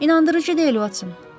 İnandırıcı deyil, Uotson.